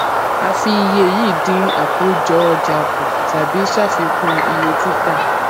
a fi iye yìí dín àkójọ ọjà kú tàbí ṣàfikún iye títà